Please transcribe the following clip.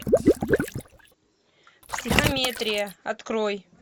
психометрия открой